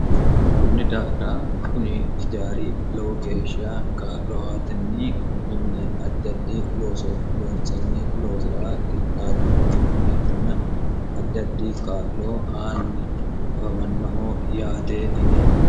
kunni daafira kuni ijaari lowo geeshiya kaa'lo atinni konni mine addi ddi looso loonsani loosira qixaawino mineetina addi addi kaa'loo aanni afamannoho yaate yine